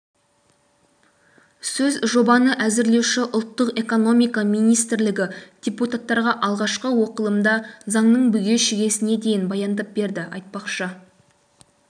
сөз жобаны әзірлеуші ұлттық экономика министрлігі депутаттарға алғашқы оқылымда заңның бүге-шүгесіне дейін баяндап берді айтпақшы